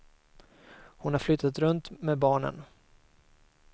Hon har flyttat runt med barnen.